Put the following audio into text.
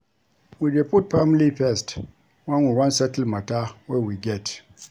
We dey put family first, wen we wan settle mata wey we get.